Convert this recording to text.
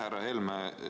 Härra Helme!